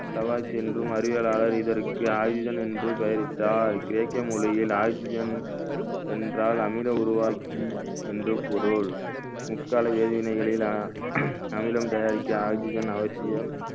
தவாஸ் என்றும் அறிவியலாளர் இதற்கு oxygen என்று பெயரிட்டார் கிரேக்க மொழியில் oxygen என்றால் அமில உருவாக்கி என்று பொருள் முக்கால வேதிவினைகளை வ~ அமிலம் தயாரிக்க oxygen அவசியம்